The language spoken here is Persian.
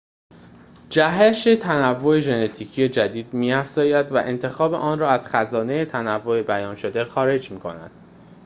جهش تنوع ژنتیکی جدید می‌افزاید و انتخاب آن را از خزانه تنوع بیان‌شده خارج می‌کند